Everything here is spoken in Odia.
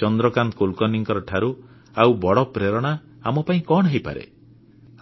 ଚନ୍ଦ୍ରକାନ୍ତ କୁଲକର୍ଣ୍ଣୀଙ୍କଠାରୁ ଆଉ ବଡ଼ ପ୍ରେରଣା ଆମ ପାଇଁ କଣ ହେଇପାରେ